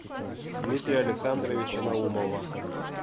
дмитрия александровича наумова